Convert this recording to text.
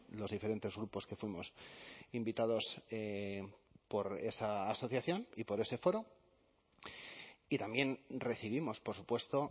los diferentes grupos que fuimos invitados por esa asociación y por ese foro y también recibimos por supuesto